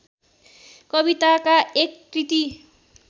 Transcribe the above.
कविताका एक कृति